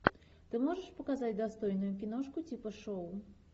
ты можешь показать достойную киношку типа шоу